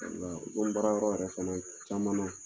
Walayi ni baara yɔrɔ yɛrɛ fana caman na